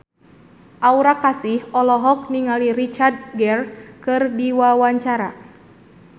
Aura Kasih olohok ningali Richard Gere keur diwawancara